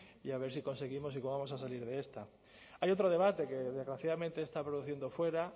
y a ver si conseguimos y cómo vamos a salir de esta hay otro debate que desgraciadamente se está produciendo fuera